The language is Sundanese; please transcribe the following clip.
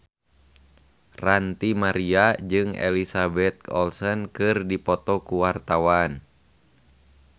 Ranty Maria jeung Elizabeth Olsen keur dipoto ku wartawan